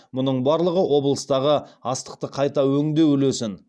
мұның барлығы облыстағы астықты қайта өңдеу үлесін